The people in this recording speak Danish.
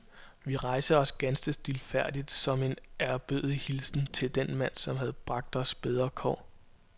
Vi rejste os ganske stilfærdigt som en ærbødig hilsen til den mand, som havde bragt os bedre kår.